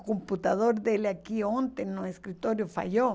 O computador dele aqui ontem no escritório falhou.